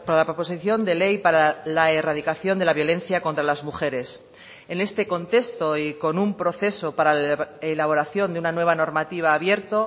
la proposición de ley para la erradicación de la violencia contra las mujeres en este contexto y con un proceso para la elaboración de una nueva normativa abierto